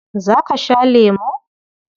Za ka sha lemo?